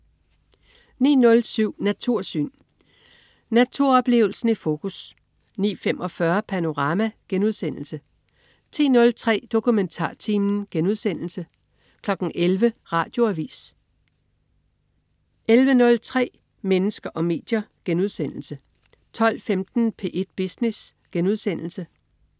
09.07 Natursyn. Naturoplevelsen i fokus 09.45 Panorama* 10.03 DokumentarTimen* 11.00 Radioavis 11.03 Mennesker og medier* 12.15 P1 Business*